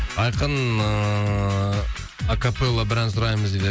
айқын ыыы акапелло бір ән сұраймыз дейді